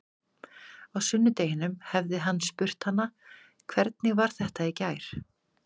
Á sunnudeginum hefði hann spurt hana: Hvernig var þetta í gær?